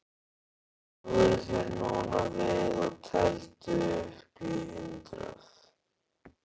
Snúðu þér núna við og teldu upp í hundrað.